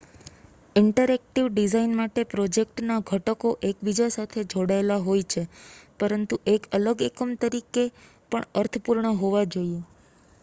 interactive design માટે પ્રોજેક્ટના ઘટકો એકબીજા સાથે જોડાયેલા હોય છે પરંતુ એક અલગ એકમ તરીકે પણ અર્થપૂર્ણ હોવા જોઈએ